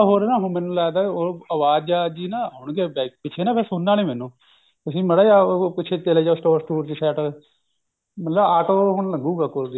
ਹੋਰ ਨਾ ਮੈਨੂੰ ਲੱਗਦਾ ਉਹ ਅਵਾਜਾ ਜੀ ਨਾ ਆਉਣਗੀਆ back ਤੇ ਪਿੱਛੇ ਫੇਰ ਸੁਣਨਾ ਨਹੀਂ ਮੈਨੂੰ ਤੁਸੀਂ ਮਾੜਾ ਜਿਹਾ ਪਿੱਛੇ ਚੱਲੇ ਜਾਓ ਸਟੋਰ ਸਟੁਰ ਚ ਮੈਨੂੰ auto ਹੁਣ ਲਗੂਂਗਾ ਕੋਲ ਦੀ